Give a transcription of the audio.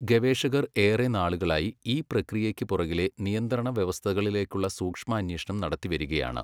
ഗവേഷകർ ഏറെ നാളുകളായി ഈ പ്രക്രിയയ്ക്ക് പുറകിലെ നിയന്ത്രണവ്യവസ്ഥകളിലേക്കുള്ള സൂക്ഷ്മാന്വേഷണം നടത്തിവരികയാണ്